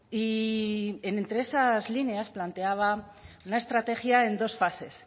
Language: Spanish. y entre esas líneas planteaba la estrategia en dos fases